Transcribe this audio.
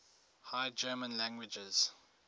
high german languages